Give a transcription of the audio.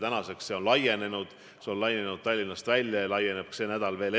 Tänaseks on see võimekus laienenud, see on laienenud Tallinnast välja ja laieneb sel nädalal veelgi.